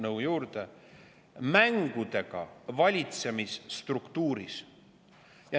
mängudega valitsemisstruktuuris.